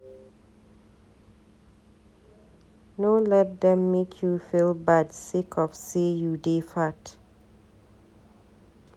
No let dem make you feel bad sake of sey you dey fat.